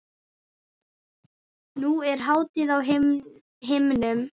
Nú er hátíð á himnum.